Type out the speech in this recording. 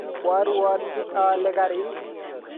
Kwaruotchi aale garit